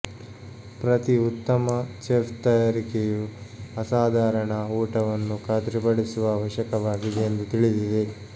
ಪ್ರತಿ ಉತ್ತಮ ಚೆಫ್ ತಯಾರಿಕೆಯು ಅಸಾಧಾರಣ ಊಟವನ್ನು ಖಾತ್ರಿಪಡಿಸುವ ಅವಶ್ಯಕವಾಗಿದೆ ಎಂದು ತಿಳಿದಿದೆ